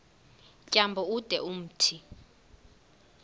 tyambo ude umthi